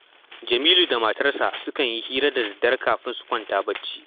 Jamilu da matarsa sukan yi hira da daddare kafin su kwanta barci